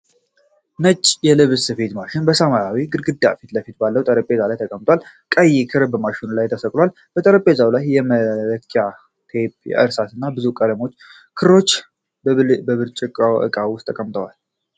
ነጭ የልብስ ስፌት ማሽን በሰማያዊ ግድግዳ ፊት ለፊት ባለው ጠረጴዛ ላይ ተቀምጧል። ቀይ ክር በማሽኑ ላይ ተሰክቷል። በጠረጴዛው ላይ የመለኪያ ቴፕ፣ እርሳስ እና ብዙ ባለቀለም ክሮች በብርጭቆ ዕቃ ውስጥ ተቀምጠዋል።